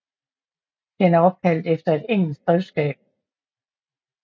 Den er opkaldt efter et engelsk grevskab